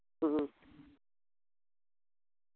ഉം